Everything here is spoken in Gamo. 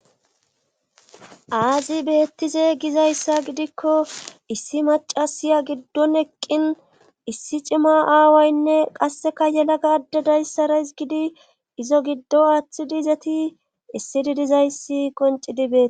aazi beettize gizayssa gidikko issi macasiya giddon eqqin issi cima aawaynne qasseka yelaga ada dayssaras gidi izo giddo aaththidi izati issi didizayssi qoncidi bee